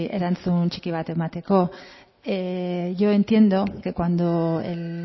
erantzun txiki bat emateko yo entiendo que cuando el